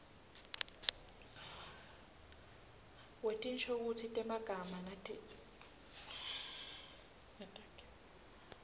wetinshokutsi temagama netakhiwo